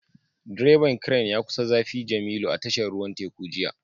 Direban Crane ya kusa zafi jemilu a tashar ruwan teku jiya